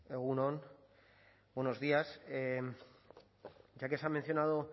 egun on buenos días ya que se ha mencionado